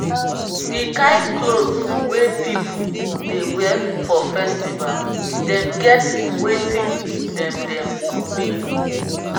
di kind clot we pipu dey wear for festival dem get wetin dem dem mean.